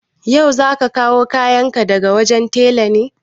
Ya'u, za ka kawo kayan ka daga wajen tela ne?